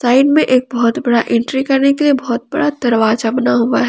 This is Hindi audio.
एक बहोत बड़ा एंट्री करने के लिए बहोत बड़ा दरवाजा बना हुआ है।